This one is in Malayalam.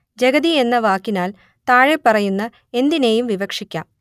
ജഗതി എന്ന വാക്കിനാൽ താഴെപ്പറയുന്ന എന്തിനേയും വിവക്ഷിക്കാം